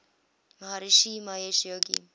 maharishi mahesh yogi